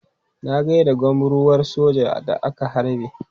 Na gai da gwamruwar sojan da aka harbe.